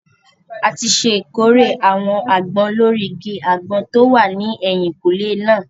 A ti ṣèkórè àwọn àgbọn lórí igi àgbọn tó wà ní ẹ̀yìnkúlé náà